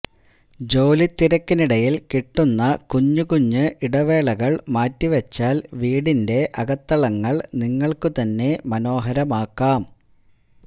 ജോലിത്തിരക്കിനിടയില് കിട്ടുന്ന കുഞ്ഞുകുഞ്ഞ് ഇടവേളകള് മാറ്റിവച്ചാല് വീടിന്റെ അകത്തളങ്ങള് നിങ്ങള്ക്കു തന്നെ മനോഹരമാക്കാം